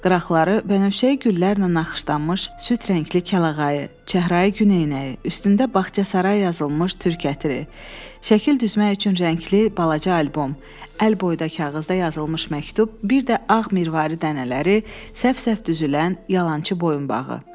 Qıraqları bənövşəyi güllərlə naxışlanmış süd rəngli kəlağayı, çəhrayı güneyinəyi, üstündə baxçasaray yazılmış türk ətri, şəkil düzmək üçün rəngli balaca albom, əl boyda kağızda yazılmış məktub, bir də ağ mirvari dənələri səhv-səhv düzülən yalançı boyunbağı.